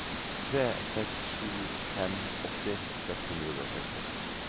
tre seks sju fem åtti seks hundre og seksti